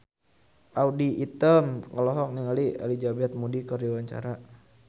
Audy Item olohok ningali Elizabeth Moody keur diwawancara